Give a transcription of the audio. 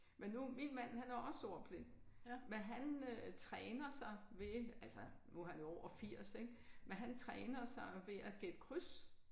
Men nu min mand han er også ordblind men han træner sig ved altså nu han er jo over 80 ik men han træner sig ved at gætte kryds